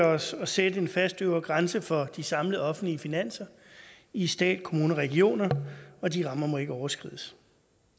os at sætte en fast øvre grænse for de samlede offentlige finanser i stat kommuner og regioner og de rammer må ikke overskrides